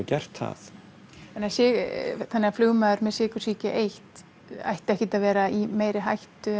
gert það flugmaður með sykursýki eins ætti ekki að vera í meiri hættu